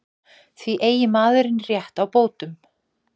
Því eigi maðurinn rétt á bótum